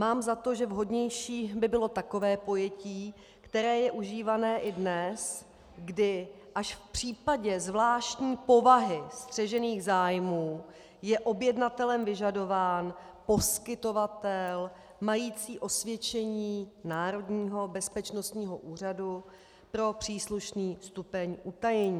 Mám za to, že vhodnější by bylo takové pojetí, které je užívané i dnes, kdy až v případě zvláštní povahy střežených zájmů je objednatelem vyžadován poskytovatel mající osvědčení Národního bezpečnostního úřadu pro příslušný stupeň utajení.